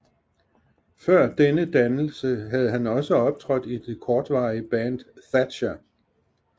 Før denne dannelse havde han også optrådt i det kortvarige band Thatcher